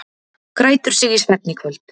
Grætur sig í svefn í kvöld